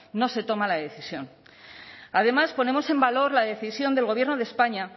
no se toma la decisión además ponemos en valor la decisión del gobierno de españa